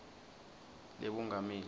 lebungameli